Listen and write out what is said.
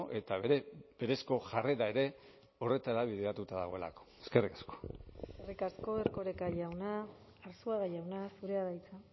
eta bere berezko jarrera ere horretara bideratuta dagoelako eskerrik asko eskerrik asko erkoreka jauna arzuaga jauna zurea da hitza